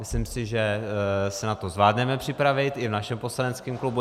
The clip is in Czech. Myslím si, že se na to zvládneme připravit i v našem poslaneckém klubu.